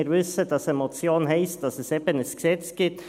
Wir wissen, dass eine Motion heisst, dass es eben ein Gesetz gibt.